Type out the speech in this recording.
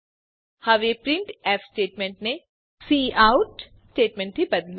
હવે પ્રિન્ટફ સ્ટેટમેંટને કાઉટ સ્ટેટમેંટથી બદલો